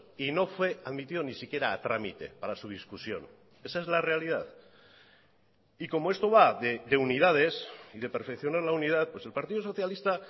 y no fue admitido ni siquiera a trámite para su discusión esa es la realidad y como esto va de unidades y de perfeccionar la unidad pues el partido socialista